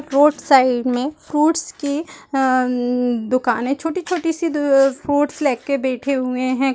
Road side मे fruits की अम्म दुकान है छोटी-छोटी सी अ फ्रूट्स ले के बैठे हुए है ।